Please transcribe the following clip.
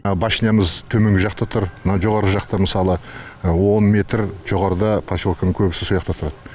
башнямыз төменгі жақта тұр мынау жоғары жақта мысалы он метр жоғарыда поселкенің көбісі со яқта тұрады